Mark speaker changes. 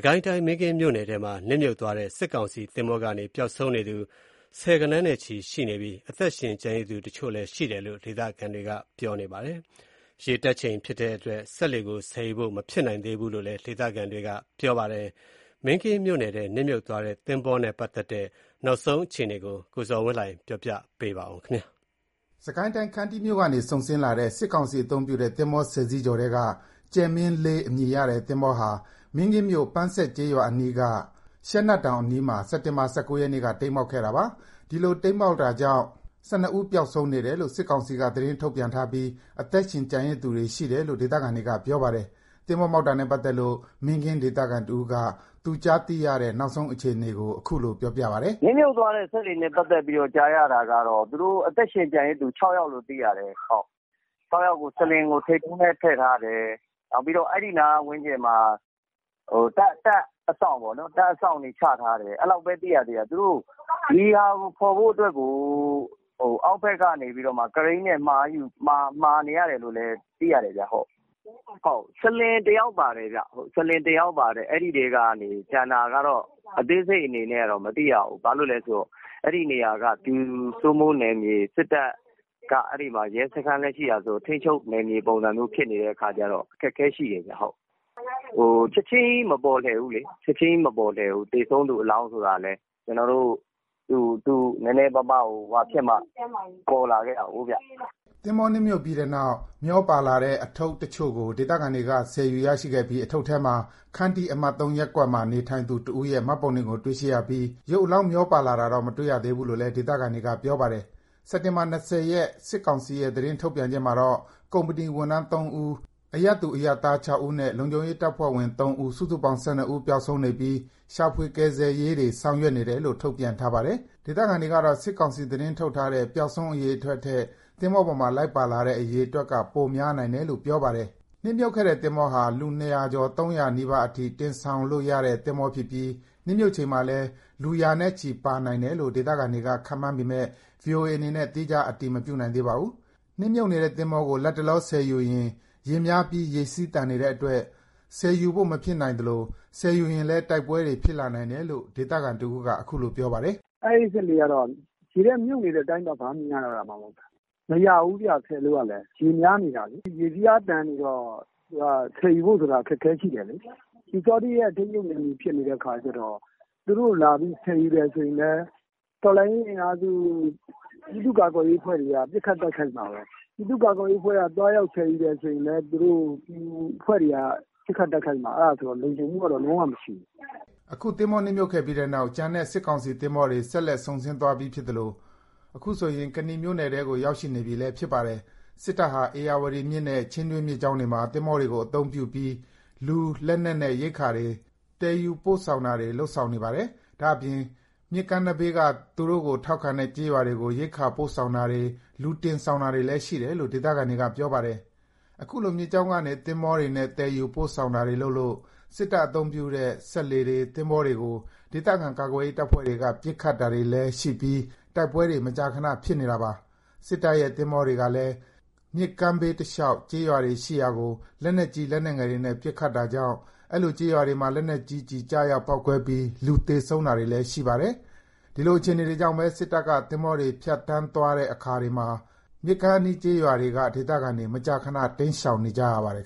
Speaker 1: ကိုင်းတိုင်း မင်းကင်းမြို့နယ်ထဲမှာ နစ်မြုပ်သွားတဲ့ စစ်ကောင်စီ သင်္ဘောကနေ ပျောက်ဆုံးနေသူ ဆယ်ဂဏန်းနဲ့ချီ ရှိနေပြီး အသက်ရှင် ကျန်ရစ်သူတချို့လည်း ရှိတယ်လို့ ဒေသခံတွေက ပြောပါတယ်။ ရေတက်ချိန် ဖြစ်နေတဲ့အတွက် စက်လှေကို ဆယ်ယူဖို့ မဖြစ်နိုင်သေးဘူး လို့လည်း ဒေသခံတွေက ပြောပါတယ်။ မင်းကင်းမြို့နယ်ထဲ နစ်မြုပ်သွားတဲ့ သင်္ဘောနဲ့ ပတ်သက်တဲ့ နောက်ဆုံး အခြေအနေကို ကိုဇော်ဝင်းလှိုင် က ပြောပြပါမ
Speaker 2: ယ်။ စစ်ကိုင်းတိုင်း ခန္တီးမြို့ကနေ စုန်ဆင်းလာတဲ့ စစ်ကောင်စီ အသုံးပြုတဲ့ သင်္ဘော ၁၀ စီးကျော်ထဲက ကြယ်မင်း အမည်ရ သင်္ဘောဟာ မင်းကင်းမြို့နယ် ပန်းဆက် ကျေးရွာအနီးက ရှဲနတ်တောင်အနီးမှာ စက်တင်ဘာ ၁၉ ရက်နေ့က တိမ်းမှောက်ခဲ့တာပါ။ ဒီလို တိမ်းမှောက်တာကြောင့် ၁၂ ဦး ပျောက်ဆုံးနေတယ်လို့ စစ်ကောင်စီက သတင်းထုတ်ပြန်ထားပြီး အသက်ရှင် ကျန်ရစ်သူတွေ ရှိတယ်လို့ ဒေသခံတွေက ပြောပါတယ်။ သင်္ဘောတိမ်းမှောက်တာနဲ့ ပတ်သက်လို့ မင်းကင်း ဒေသခံတဦးက သူကြားသိရတဲ့ နောက်ဆုံး အခြေအနေကို အခုလို ပြောပါတယ်။ “နစ်
Speaker 1: မြှုပ်သွားတဲ့ စက်လှေနဲ့ ပတ်သက်လို့ နောက်ဆုံးကြားရတာက သူတို့ အသက်ရှင် ကျန်ရစ်သူ ၆ ယောက်လို့ သိရတယ်။ ၆ ယောက်ကို စလင်ကို ထိပ်တုံးထဲ ထည့်ထားတယ်။ နောက်ပြီး အဲ့ဒီနား ဝန်းကျင်မှာ တပ်အစောင့်ပေါ့နော် တပ်အစောင့်တွေ ချထားတယ်။ အဲ့လောက်ပဲ သိရသေးတာ။ သူတို့ ဒီဟာကို ဖော်ဖို့အတွက်ကို အောက်ဘက်ကနေ ကရိန်း မှာနေတယ်လို့လည်း သိရတယ်။ စလင် တယောက်ပါတယ်။ အဲ့ဒီအထဲက ကျန်တာက အသေးစိတ်အနေနဲ့ မသိရသေးဘူး။ ဘာလို့လဲဆိုတော့ အဲ့နေရာက ပျူစိုးမိုးနယ်မြေ စစ်တပ်က အဲ့မှာ ရဲစခန်းလည်း ရှိတာဆိုတော့ ထိန်းချုပ်နယ်မြေဖြစ်နေတော့ အခက်အခဲရှိတယ်။ ချက်ချင်းကြီး မပေါ်ဘူးလေ သေဆုံးသူ အလောင်းဆိုတာလည်း နည်းနည်းပါးပါး ဟိုဟာဖြစ်မှ ပေါ်လာတာကိုး။
Speaker 2: ” သင်္ဘော နစ်မြုပ်ပြီးနောက် မျောပါလာတဲ့ အထုပ် အချို့ကို ဒေသခံတွေက ဆယ်ယူရရှိခဲ့ပြီး အထုပ်ထဲမှာ ခန္တီး အမှတ် ၃ ရပ်ကွက်မှာ နေထိုင်သူ တဦးရဲ့ မှတ်ပုံတင်ကို တွေ့ရှိပြီး ရုပ်အလောင်းတွေ မျောပါလာတာတော့ မတွေ့သေးဘူးလို့လည်း ဒေသခံတွေက ပြောပါတယ်။ စစ်တင်ဘာ ၂၀ ရက် စစ်ကောင်စီရဲ့ သတင်း ထုတ်ပြန်ချက်မှာတော့ ကုမ္ပဏီဝန်ထမ်း ၃ ဦး၊ အရပ်သူအရပ်သား ၆ ဦးနဲ့ လုံခြုံရေး တပ်ဖွဲ့ဝင် ၃ ဦး စုစုပေါင်း ၁၂ ဦး ပျောက်ဆုံးနေပြီး ရှာဖွေ ကယ်ဆယ်ရေးတွေ ဆောင်ရွက်နေတယ်လို့ ထုတ်ပြန်ထားပါတယ်။ ဒေသခံတွေကတော့ စစ်ကောင်စီ သတင်းထုတ်ထားတဲ့ ပျောက်ဆုံး အရေအတွက်ထက် သင်္ဘောပေါ်မှာ လိုက်ပါလာတဲ့ အရေအတွက်က ပိုများနိုင်တယ်လို့ ပြောပါတယ်။ နစ်မြုပ်ခဲ့တဲ့သင်္ဘော ဟာ လူ ၂၀၀ ကျော် ၃၀၀ နီးပါးအထိ တင်ဆောင်လို့ရတဲ့ သင်္ဘောဖြစ်ပြီး နစ်မြုပ်ချိန်မှာလည်း လူ ရာနဲ့ချီ ပါနိုင်တယ်လို့ ဒေသခံတွေက ခန့်မှန်းပေမဲ့ ဗွီအိုအေ အနေနဲ့ သီးခြား အတည်မပြုနိုင်သေးပါဘူး။ နစ်မြုပ်နေတဲ့ သင်္ဘောကို လတ်တလော ဆယ်ယူရင် ရေများပြီး ရေစီးသန်နေတဲ့အတွက် ဆယ်ယူဖို့ မဖြစ်နိုင်သလို ဆယ်ယူရင်လည်း တိုက်ပွဲတွေ ဖြစ်လာနိုင်တယ်လို့ ဒေသခံတဦးက အခုလို ပြောပါတယ်။ “အဲ့စက်လှေက ရေထဲမြုပ်နေတဲ့အတိုင်းပဲ ဘာမှ မြင်ရတော့တာမှာ မဟုတ်တာ။ မရဘူးဗျ ဆယ်လို့ကလည်း ရေများနေတာလေ။
Speaker 1: ရေစီးအားသန်နေတော့ ဆယ်ယူဖို့ဆိုတာ အခက်အခဲ ရှိတယ်လေ။ ပျူစောထီးရဲ့ ထိန်းချုပ်နယ်မြေ ဖြစ်နေတဲ့အခါကျတော့ သူတို့လာပြီး ဆယ်ယူရင်လည်း တော်လှန်ရေး အင်အားစု ပြည်သူ့ ကာကွယ်ရေးအဖွဲ့တွေက ပစ်ခတ်တိုက်ခိုက်မှာပဲ။ ပြည်သူ့ကာကွယ်ရေးအဖွဲ့က သွားရောက် ဆယ်ယူတယ် ဆိုရင်လည်း သူတို့အဖွဲ့တွေက ပစ်ခတ်တိုက်ခိုက်မှာပဲ။ အဲ့ဒါဆိုတော့ လုံခြုံမှုကတော့ လုံးဝ မရှိဘူး
Speaker 2: ။” အခု သင်္ဘော နစ်မြုပ်ခဲ့ပြီးတဲ့နောက် ကျန်တဲ့ စစ်ကောင်စီ သင်္ဘောတွေ ဆက်လက် စုန်ဆင်းသွားပြီ ဖြစ်သလို အခုဆိုရင် ကနီမြို့နယ်ထဲကို ရောက်ရှိနေပြီလည်း ဖြစ်ပါတယ်။ စစ်တပ်ဟာ ဧရာဝတီမြစ်နဲ့ ချင်းတွင်းမြစ်ကြောင်းတွေမှာ သင်္ဘောတွေကို အသုံးပြုပြီး လူ၊ လက်နက်နဲ့ ရိက္ခာတွေ သယ်ယူပို့ဆောင် တာတွေ လုပ်နေတာလည်း ဖြစ်ပါတယ်။ ဒါ့အပြင် မြစ်ကမ်းနဘေးက သူတို့ကို ထောက်ခံတဲ့ ကျေးရွာတွေကို ရိက္ခာပို့ဆောင်တာတွေ လူတင်ဆောင် တာတွေလည်း ရှိတယ်လို့ ဒေသခံတွေက ပြောပါတယ်။ အခုလို မြစ်ကြောင်းကနေ သင်္ဘောတွေနဲ့ သယ်ယူပို့ဆောင်တာတွေ လုပ်လို့ စစ်တပ်အသုံးပြုတဲ့ စက်လှေတွေ၊ သင်္ဘောတွေကို ဒေသခံ ကာကွယ်ရေး တပ်ဖွဲ့တွေက ပစ်ခတ်တာတွေလည်း ရှိပြီး တိုက်ပွဲတွေ မကြာခဏ ဖြစ်နေတာပါ။ စစ်တပ်ရဲ့ သင်္ဘောတွေကလည်း မြစ်ကမ်းဘေးတလျှောက် ကျေးရွာတွေရှိရာကို လက်နက်ကြီး လက်နက်ငယ်တွေနဲ့ ပစ်ခတ်တာကြောင့် အဲ့လို ကျေးရွာတွေမှာ လက်နက်ကြီးကျည် ကျရောက်ပေါက်ကွဲပြီး လူသေဆုံးတာတွေလည်း ရှိပါတယ်။ ဒီလိုအခြေအနေတွေကြောင့်ပဲ စစ်တပ် သင်္ဘောတွေ ဖြတ်သန်းသွားတဲ့ အခါတွေမှာ မြစ်ကမ်းအနီး ကျေးရွာက ဒေသခံတွေ မကြာခဏ တိမ်းရှောင်နေကြရပါတယ်